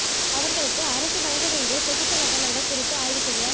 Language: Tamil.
அவர்களுக்கு அரசு வழங்க வேண்டிய தொகுப்பு கட்டணங்கள் குறித்து ஆய்வு செய்ய